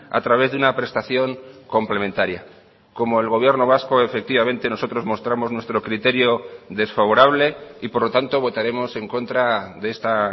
a través de una prestación complementaria como el gobierno vasco efectivamente nosotros mostramos nuestro criterio desfavorable y por lo tanto votaremos en contra de esta